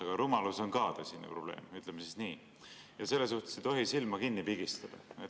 Aga rumalus on ka tõsine probleem, ütleme nii, ja selle suhtes ei tohi silma kinni pigistada.